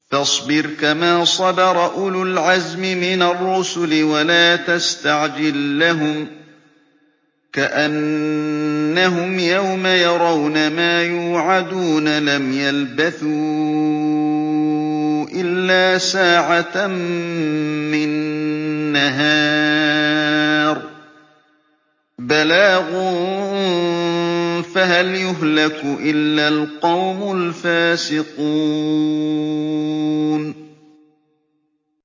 فَاصْبِرْ كَمَا صَبَرَ أُولُو الْعَزْمِ مِنَ الرُّسُلِ وَلَا تَسْتَعْجِل لَّهُمْ ۚ كَأَنَّهُمْ يَوْمَ يَرَوْنَ مَا يُوعَدُونَ لَمْ يَلْبَثُوا إِلَّا سَاعَةً مِّن نَّهَارٍ ۚ بَلَاغٌ ۚ فَهَلْ يُهْلَكُ إِلَّا الْقَوْمُ الْفَاسِقُونَ